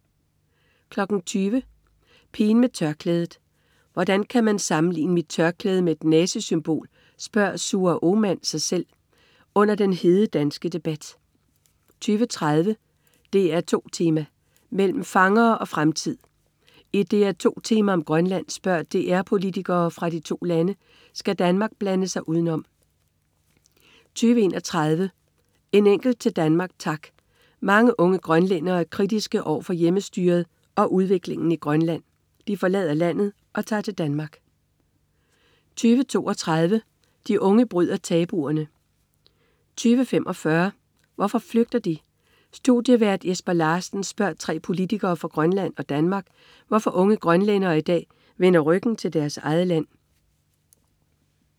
20.00 Pigen med tørklædet. "Hvordan kan han sammenligne mit tørklæde med et nazisymbol?", spørger Suher Othmann sig selv under den hede danske debat 20.30 DR2 Tema: Mellem fangere og fremtid. I et DR2 Tema om Grønland spørger DR politikere fra de to lande: Skal Danmark blande sig udenom? 20.31 En enkelt til Danmark, tak. Mange unge grønlændere er kritiske over for Hjemmestyret og udviklingen i Grønland. De forlader landet og tager til Danmark 20.32 De unge bryder tabuerne 20.45 Hvorfor flygter de? Studievært Jesper Larsen spørger tre politikere fra Grønland og Danmark, hvorfor unge grønlændere i dag vender ryggen til deres eget land? 21.00 Den musikalske revolution. Bandet Sume fik en hel generation af unge grønlændere til at synge med på teksterne om selv at bestemme over udviklingen i sit eget land